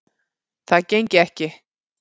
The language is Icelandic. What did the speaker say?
Það gengi ekki